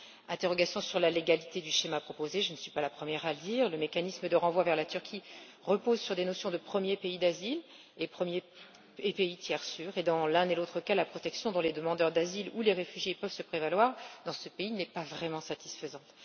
Des interrogations sur la légalité du schéma proposé je ne suis pas la première à le dire. Le mécanisme de renvoi vers la Turquie repose sur les notions de premier pays d'asile et de pays tiers sûr et, dans l'un et l'autre cas, la protection dont les demandeurs d'asile ou les réfugiés peuvent se prévaloir dans ce pays n'est pas vraiment satisfaisante.